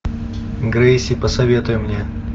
грейси посоветуй мне